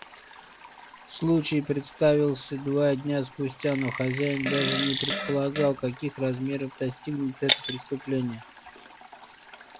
случай представился два дня спустя но хозяин даже не предполагал каких размеров достигнет это преступление